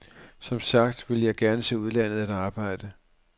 Som sagt vil jeg gerne til udlandet at arbejde.